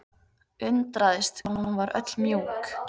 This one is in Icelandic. Undraðist hvað hún var öll mjúk.